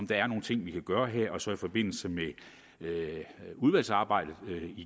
der er nogle ting vi kan gøre her og så i forbindelse med udvalgsarbejdet